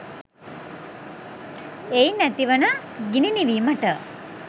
එයින් ඇතිවන ගිනි නිවීමට